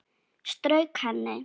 Strauk henni.